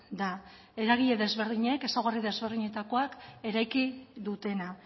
da eragile ezberdinek ezaugarri desberdinketakoak eraiki dutena